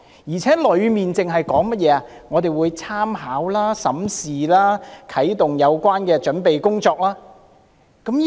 而且，有關內容只提到政府會參考、審視、啟動有關的準備工作。